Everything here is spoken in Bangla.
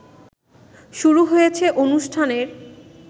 শুরু হয়েছে অনুষ্ঠানের